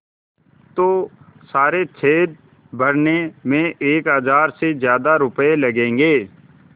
तो सारे छेद भरने में एक हज़ार से ज़्यादा रुपये लगेंगे